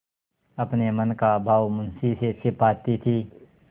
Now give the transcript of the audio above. अपने मन का भाव मुंशी से छिपाती थी